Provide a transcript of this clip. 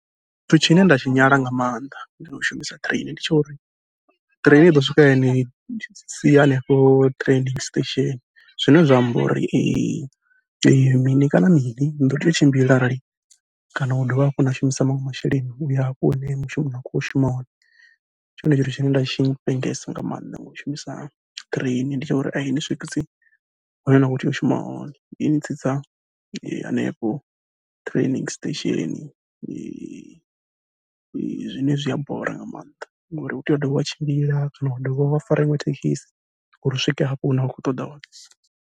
Tshithu tshine nda tshi nyala nga maanḓa ngau shumisa train, ndi tsha uri train iḓo swika yani sia hanefho training station zwine zwa amba uri mini kana mini niḓo tea u tshimbila arali kana u dovha hafhu na shumisa maṅwe masheleni uya hafho hune mushumoni na khou shuma hone. Ndi tshone tshithu tshine nda tshi vhengesa nga maanḓa ngau shumisa train, ndi tsha uri ai ni swikisi hune na kho tea u shuma hone, ini tsitsa hanefho training station zwine zwia bora nga maanḓa ngori u tea u dovha wa tshimbila kana wa dovha wa fara iṅwe thekisi uri u swike hafho hune wa khou ṱoḓa hone.